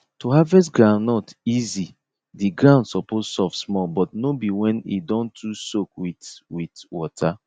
to harvest groundnut easy the ground suppose soft small but no be when e don too soak with with water